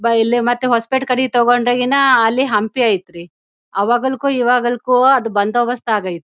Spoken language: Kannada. ಬಾ ಇಲ್ಲಿ ಮತ್ತೆ ಹೊಸಪೇಟೆ ಕಡೆಗೆ ತೊಕೊಂಡ್ರೆ ಇನ್ ಅಲ್ಲಿ ಹಂಪಿ ಐತ್ರಿ. ಆವಾಗಲುಕು ಇವಾಗಲಕು ಬಂದು ಬಸ್ತ್ ಆಗ್ಯ್ಐತ್ರಿ.